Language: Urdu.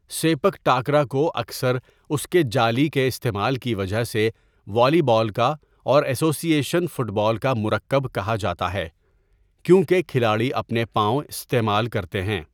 سیپک ٹاکرا کو اکثر اس کے جالی کے استعمال کی وجہ سے، والی بال کا اور ایسوسی ایشن فٹ بال کا مرکب کہا جاتا ہے، کیونکہ کھلاڑی اپنے پاؤں استعمال کرتے ہیں۔